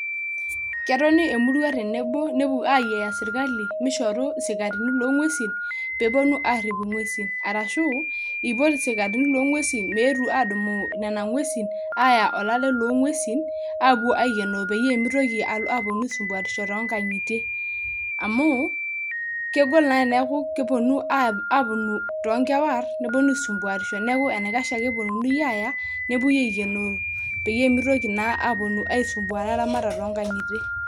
Ketoni emurua tenebonepuo ayiaya sirkali mishoru sikarini loonguesi peepuonu aarip inguesin arashuu ipotu sikarini loonguesi peepuonu aadumu Nena ngusin Aya olale loo ngusin aapuo aikenoo peemitoki aisumpuarisho too nkangingitie amuu kegol naa teniaku kepuonu too nkewar aisumpuarisho neeku enaikash epununi Aya nepuoi aikenoo peyie mintoki naa apuonu aimpuarisho